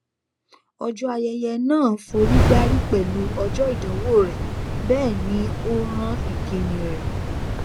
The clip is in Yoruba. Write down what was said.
ọjọ ayẹyẹ náà forígbárí pẹlú ọjọ ìdánwò rẹ bẹẹ ni ó rán ìkíni rẹ